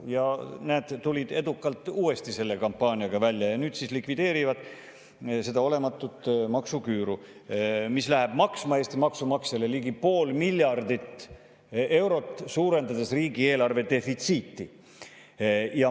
Ja näete – tulid edukalt uuesti selle kampaaniaga välja ja nüüd siis likvideerivad seda olematut maksuküüru, mis läheb Eesti maksumaksjale maksma ligi pool miljardit eurot, suurendades riigieelarve defitsiiti.